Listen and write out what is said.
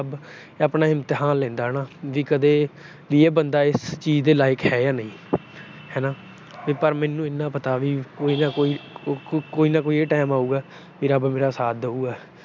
ਆਪਣਾ ਇਮਤਿਹਾਨ ਲੈਂਦਾ ਹਨਾ। ਜੇ ਕਦੇ ਵੀ ਇਹ ਬੰਦਾ ਇਸ ਚੀਜ ਦੇ ਲਾਈਕ ਹੈ ਜਾਂ ਨਹੀਂ ਹਨਾ। ਪਰ ਮੈਨੂੰ ਇੰਨਾ ਪਤਾ ਕੋਈ ਨਾ ਕੋਈ ਅਹ ਕੋਈ ਨਾ ਕੋਈ ਇਹ time ਆਉਗਾ ਕਿ ਰੱਬ ਮੇਰਾ ਸਾਥ ਦੇਊਗਾ।